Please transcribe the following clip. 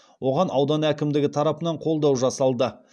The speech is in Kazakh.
оған аудан әкімдігі тарапынан қолдау жасалды